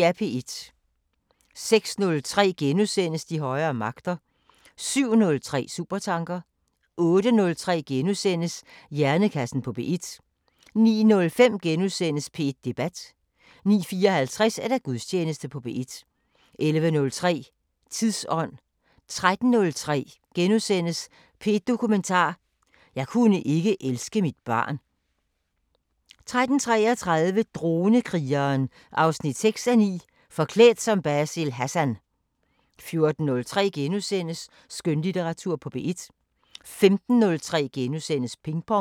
06:03: De højere magter * 07:03: Supertanker 08:03: Hjernekassen på P1 * 09:05: P1 Debat * 09:54: Gudstjeneste på P1 11:03: Tidsånd 13:03: P1 Dokumentar: 'Jeg kunne ikke elske mit barn' 13:33: Dronekrigeren 6:9 – Forklædt som Basil Hassan 14:03: Skønlitteratur på P1 * 15:03: Ping Pong *